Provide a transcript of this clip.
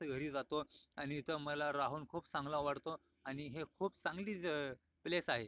घरी जातो आणि इथं मला राहून खूप चांगल वाटतो आणि हे खूप चांगली प्लेस आहे.